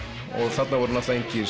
þarna voru engir